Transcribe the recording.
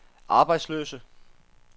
arbejdsløse